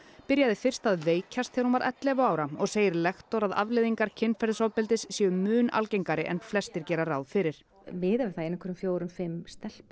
byrjaði fyrst að veikjast þegar hún var ellefu ára og segir lektor að afleiðingar kynferðisofbeldis séu mun algengari en flestir gera ráð fyrir miðað við það að ein af hverjum fjórum fimm stelpum